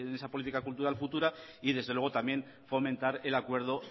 esa política cultural futura y desde luego también fomentar el acuerdo